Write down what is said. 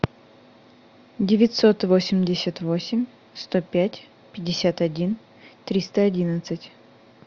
девятьсот восемьдесят восемь сто пять пятьдесят один триста одиннадцать